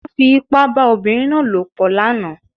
Wọ́n fi ipá bá obìnrin náà lòpọ̀ lánàá